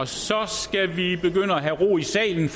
så skal vi have ro i salen